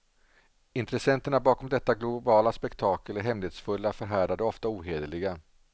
Intressenterna bakom detta globala spektakel är hemlighetsfulla, förhärdade och ofta ohederliga.